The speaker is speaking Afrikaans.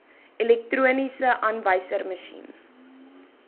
elektroniese aanwyserma sjien